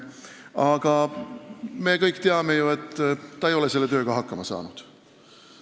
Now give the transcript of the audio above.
Aga me kõik ju teame, et ta ei ole selle tööga hakkama saanud.